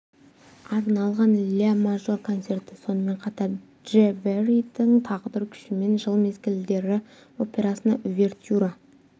арналған ля мажор концерті сонымен қатар дж вердидің тағдыр күші мен жыл мезгілдері операсына увертюра